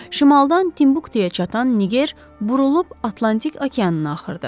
Şimaldan Timbuktuya çatan Niger burulub Atlantik okeanı axırdı.